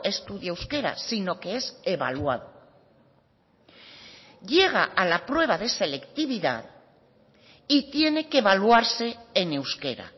estudia euskera sino que es evaluado llega a la prueba de selectividad y tiene que evaluarse en euskera